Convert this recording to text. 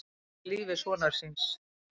Bjargaði lífi sonar síns